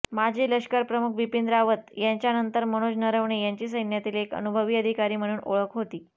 माजी लष्करप्रमुख बिपीन रावत यांच्यानंतर मनोज नरवणे यांची सैन्यातील एक अनुभवी अधिकारी म्हणून ओळख होती